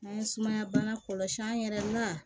N'an ye sumaya bana kɔlɔsi an yɛrɛ na